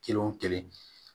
Kelen o kelen